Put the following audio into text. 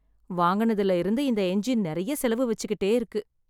வாங்குனதுல இருந்து இந்த எஞ்சின் நிறைய செலவு வச்சுக்கிட்டே இருக்கு